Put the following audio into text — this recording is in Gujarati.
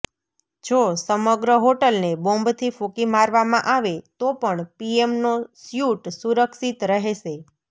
જો સમગ્ર હોટલને બોંબથી ફુંકી મારવામાં આવે તો પણ પીએમનો સ્યુટ સુરક્ષિત રહેશે